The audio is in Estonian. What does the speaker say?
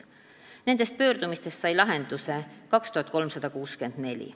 Nendest pöördumistest sai lahenduse 2364.